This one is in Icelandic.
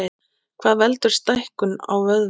Hvað veldur stækkun á vöðvum?